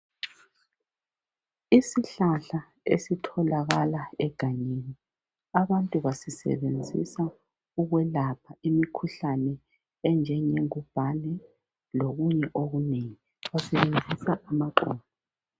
Isihlahla esitholakala egangeni abantu basisebenzisa ukwelapha imikhuhlane enjenge ngubhane lokunye okunengi basebenzisa amahlamvu